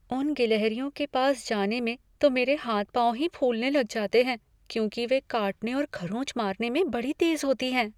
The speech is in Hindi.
उन गिलहरियों के पास जाने में तो मेरे हाथ पाँव ही फूलने लग जाते हैं, क्योंकि वे काटने और खरोंच मारने में बड़ी तेज़ होती हैं।